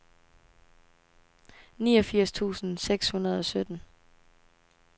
niogfirs tusind seks hundrede og sytten